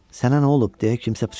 Sənə nə olub, deyə kimsə pıçıldadı.